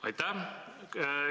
Aitäh!